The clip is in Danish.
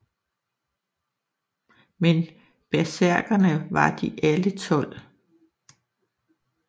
Men bersærkere var de alle tolv